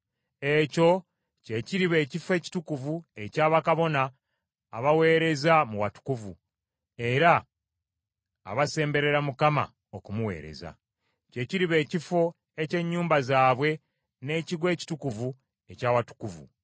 Ekyo kye kiriba ekifo ekitukuvu ekya bakabona abaweereza mu watukuvu, era abasemberera Mukama okumuweereza. Kye kiriba ekifo eky’ennyumba zaabwe n’ekigo ekitukuvu eky’Awatukuvu.